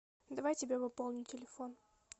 давай тебе пополню телефон